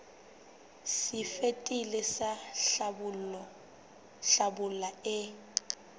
se fetileng sa hlabula e